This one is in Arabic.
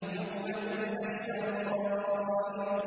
يَوْمَ تُبْلَى السَّرَائِرُ